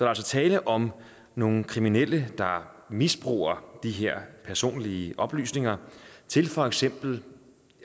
altså tale om nogle kriminelle der misbruger de her personlige oplysninger til for eksempel